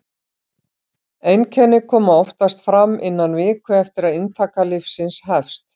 einkenni koma oftast fram innan viku eftir að inntaka lyfsins hefst